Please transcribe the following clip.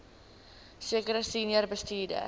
sekere senior bestuurders